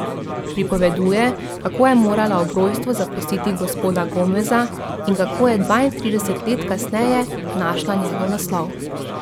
Pripoveduje, kako je morala ob rojstvu zapustiti gospoda Gomeza in kako je dvaintrideset let kasneje našla njegov naslov.